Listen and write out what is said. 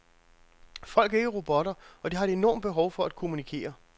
Folk er ikke robotter, og de har et enormt behov for at kommunikere.